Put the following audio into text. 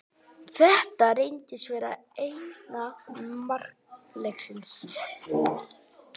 Þetta reyndist vera eina mark leiksins.